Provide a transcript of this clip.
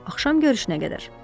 Axşam görüşünə qədər.